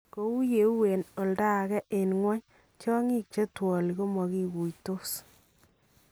Kou yee huu en oldo ake en kwony , tyong'iik chetwalii komakikuitoos